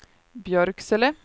Björksele